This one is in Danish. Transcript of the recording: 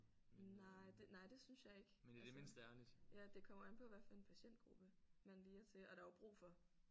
Nej nej det synes jeg ikke altså ja det kommer an på hvad for en patientgruppe man lige er til og der er jo brug for